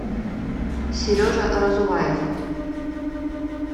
сережа разуваев